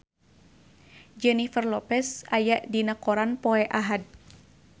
Jennifer Lopez aya dina koran poe Ahad